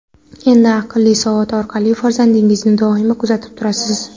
Endi aqlli soat orqali farzandingizni doimo kuzatib turasiz.